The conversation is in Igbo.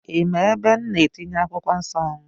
Ị ma ebe m na-etinye akwụkwọ nsọ m?